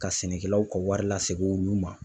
Ka sɛnɛkɛlaw ka wari lasegi olu ma.